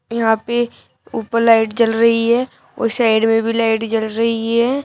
यहां पे ऊपर लाइट जल रही है और साइड में भी लाइट जल रही है।